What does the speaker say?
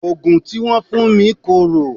Òògùn tí wọ́n fún mi korò.